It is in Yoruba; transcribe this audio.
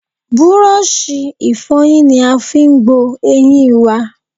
Búrọ́ṣì ìfọyín ni a fi gbo eyín i wa.